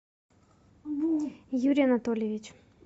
юрий анатольевич